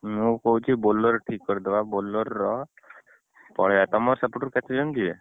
ମୁଁ କହୁଛି Bolero ଠିକ କରିଦବା Bolero ର ପଳେଇଆ ତମର ସେପଟରୁ କେତେଜଣ ଯିବେ?